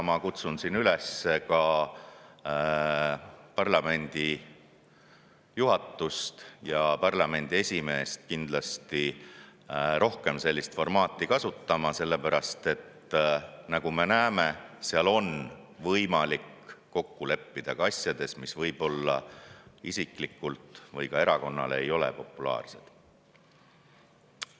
Ma kutsun siin üles ka parlamendi juhatust ja esimeest kindlasti rohkem sellist formaati kasutama, sellepärast et nagu me näeme, seal on võimalik kokku leppida ka asjades, mis võib-olla kellelegi isiklikult või erakonnale ei tundu populaarsed.